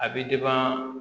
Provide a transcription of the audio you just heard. A bɛ